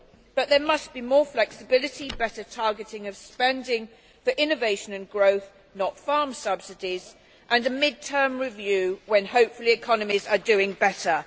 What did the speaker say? But there must be more flexibility, better targeting of spending for innovation and growth, rather than farm subsidies, and a mid term review when, hopefully, economies are doing better.